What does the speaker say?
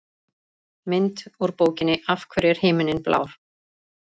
Mynd: Úr bókinni Af hverju er himinninn blár?